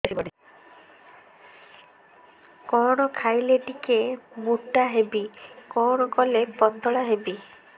କଣ ଖାଇଲେ ଟିକେ ମୁଟା ହେବି କଣ କଲେ ପତଳା ହେବି